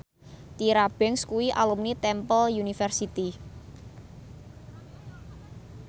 Tyra Banks kuwi alumni Temple University